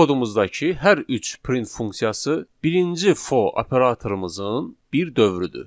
Bu kodumuzdakı hər üç print funksiyası birinci for operatorumuzun bir dövrüdür.